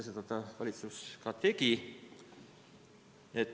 Seda valitsus tõesti tegi.